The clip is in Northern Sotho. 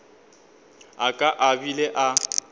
a ka a bile a